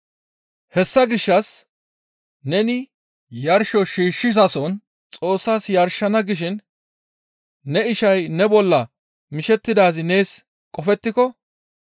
Hessa gishshas neni yarsho shiishshizason Xoossas yarshana gishin ne ishay ne bolla mishettidaazi nees qofettiko,